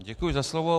Děkuji za slovo.